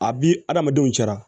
A bi adamadenw cɛ la